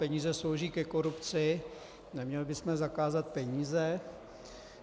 Peníze slouží ke korupci, neměli bychom zakázat peníze?